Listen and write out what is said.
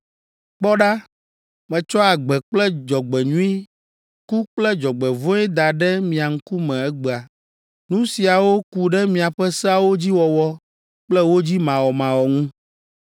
“Kpɔ ɖa, metsɔ agbe kple dzɔgbenyui, ku kple dzɔgbevɔ̃e da ɖe mia ŋkume egbea. Nu siawo ku ɖe miaƒe seawo dzi wɔwɔ kple wo dzi mawɔmawɔ ŋu.